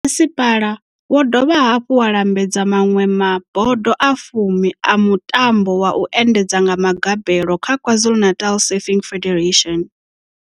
Masipala wo dovha hafhu wa lambedza maṅwe ma bodo a fumi a mutambo wa u endedza nga magabelo kha KwaZulu-Natal Surfing Federation.